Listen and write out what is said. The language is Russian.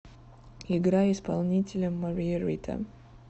играй исполнителя мария рита